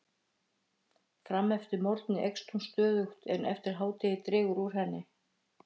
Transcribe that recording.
Fram eftir morgni eykst hún stöðugt en eftir hádegi dregur úr henni.